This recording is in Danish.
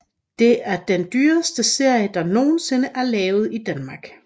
Det er den dyreste serie der nogensinde er lavet i Danmark